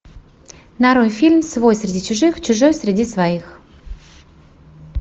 нарой фильм свой среди чужих чужой среди своих